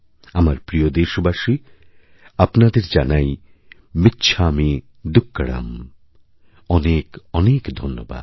আমার প্রিয়দেশবাসী আপনাদের জানাই মিচ্ছামী দুক্কড়ম অনেক অনেক ধন্যবাদ